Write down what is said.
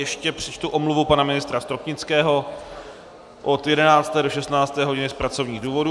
Ještě přečtu omluvu pana ministra Stropnického od 11. do 16. hodiny z pracovních důvodů.